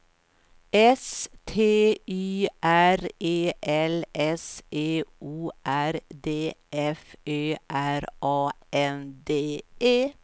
S T Y R E L S E O R D F Ö R A N D E